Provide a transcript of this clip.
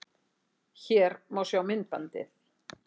Hér má sjá myndbandið